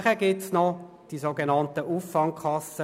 Weiter gibt es die sogenannten Auffangkassen.